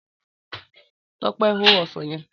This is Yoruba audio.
Tọ́pẹ́ máa ó ọsàn yẹn.